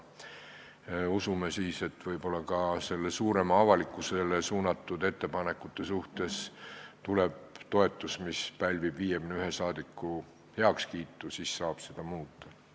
Loodame siis, et võib-olla ka suurema avalikkuse heaks tehtud ettepanekutele tuleb toetus, nii et need pälvivad 51 saadiku heakskiidu, siis saab seda muuta.